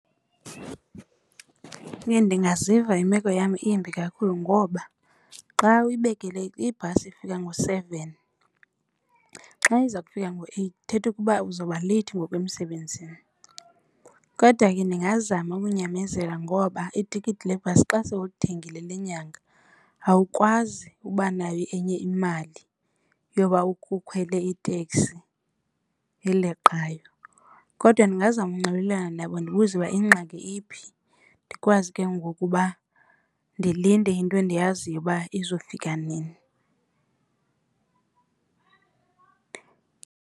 Ndingaziva imeko yam imbi kakhulu ngoba xa uyibekele ibhasi ifika ngo-seven xa iza kufika ngo-eight ithetha ukuba uzawuba leyithi ngoku emsebenzini. Kodwa ke ndingazama ukunyamezela ngoba itikiti lebhasi xa sowulithengile lenyanga awukwazi uba nayo enye imali yoba ukukhwele iteksi eleqayo. Kodwa ndingazama unxibelelana nabo ndibuze uba ingxaki iphi ndikwazi ke ngoku uba ndilinde into endiyaziyo uba izawufika nini.